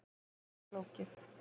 Þetta er ansi flókið.